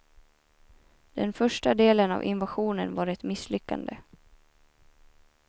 Den första delen av invasionen var ett misslyckande.